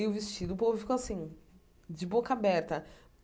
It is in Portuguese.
E o vestido, o povo ficou assim, de boca aberta.